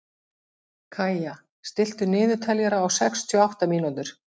Kaía, stilltu niðurteljara á sextíu og átta mínútur.